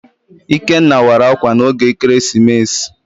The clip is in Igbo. Ikenna wara ákwà n'oge ekeresimesi.